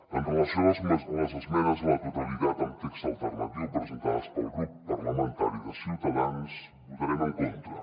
amb relació a les esmenes a la totalitat amb text alternatiu presentades pel grup parlamentari de ciutadans hi votarem en contra